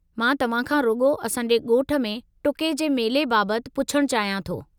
मां तव्हां खां रुॻो असां जे ॻोठ में टुके जे मेले बाबतु पुछणु चाहियां थो।